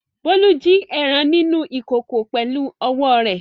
Bólú jí ẹran nínú ìkòkò pẹ̀lú ọwọ́ rẹ̀.